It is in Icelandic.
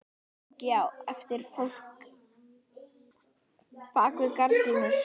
Lengi á eftir fólk á bak við gardínur.